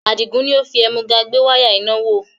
Adigun ni ó fi ẹ̀múga gbé wáyà iná wò